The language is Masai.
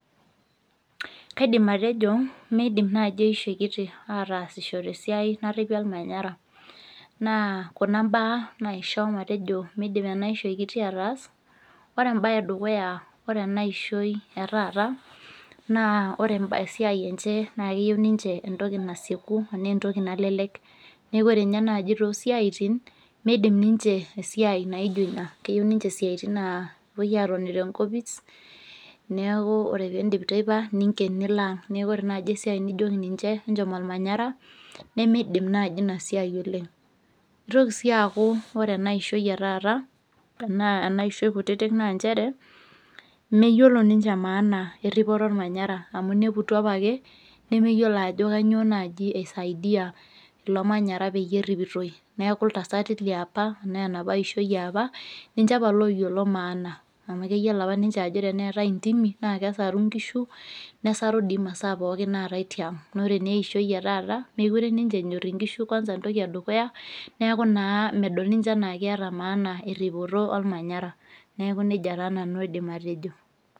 Kaidim atejo meidim naaji eishoi kiti ataasisho tesiai narripi olmanyara naa kuna imbaa naisho matejo midim ena ishoi kiti ataas ore embaye edukuya ore ena ishoi etaata naa ore emba ore esiai enche naa keyieu niniche entoki nasieku enaa entoki nalelek neku ore inye naaji tosiaitin meidim ninche esiai naijio ina keyieu ninche isiaitin naa kepuoi atoni tenkopis neku ore pindip teipa ninken nilo ang neku ore naaji esiai nijioki ninche enchom olmanyara nemeidim naaji ina siai oleng kitoki sii aku ore ena ishoi etaata enaa ena ishoi kutitik naa nchere meyiolo ninche maana erripoto ormanyara amu ineputua apake nemeyiolo ajo kanyio naaji eisaidia ilo manyara peyie erripitoi neku iltasati liapa enaa enapa ishoi yiapa ninche apa loyiolo maana amu keyiolo apa ninche ajo teneetae intimi naa kesaru inkishu nesaru dii imasaa pookin naatae tiang nore naa eishoi etaata mekure ninche enyorr inkishu kwanza entoki edukuya niaku naa medol ninche anaa keeta maana erripoto olmanyara neeku naa medol naa ninche enaa keeta maana erripoto olmanyara neku nejia taa nanu aidim atejo.